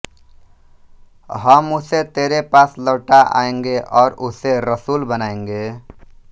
हम उसे तेरे पास लौटा लाएँगे और उसे रसूल बनाएँगे